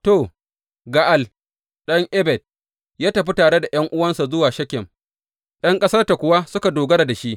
To, Ga’al ɗan Ebed ya tafi tare da ’yan’uwansa zuwa Shekem, ’yan ƙasarta kuwa suka dogara da shi.